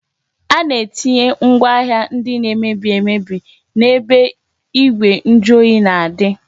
A na-etinye ngwaahịa ndị na-emebi emebi n-ebe igwe njuoyi na-adị